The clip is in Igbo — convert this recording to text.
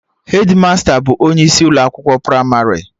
Hedmasta bụ onye isi Ụlọ akwụkwọ pramarị